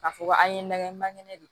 K'a fɔ ko an ye lagɛ man kɛnɛ de